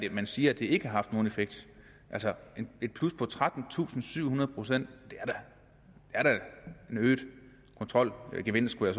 at man siger at det ikke har haft nogen effekt altså et plus på trettentusinde og syvhundrede procent det er da en øget kontrolgevinst skulle